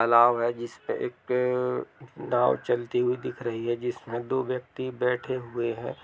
तालाब है जिसपे एक नाव चलती हुई दिख रही है दो व्यक्ति बैठे हुए है।